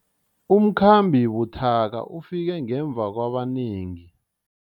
Umkhambi buthaka ufike ngemva kwabanengi.